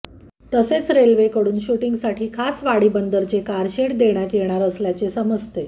तसेच रेल्वेकडून शुटिंगसाठी खास वाडीबंदरचे कार शेड देण्यात येणार असल्याचे समजते